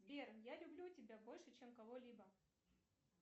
сбер я люблю тебя больше чем кого либо